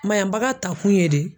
Mayanbaga takun ye de